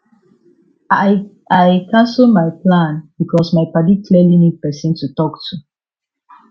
i i cancel my plan because my padi clearly need person to talk to